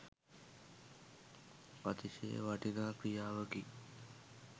අතිශය වටිනා ක්‍රියාවකි.